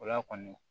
O la kɔni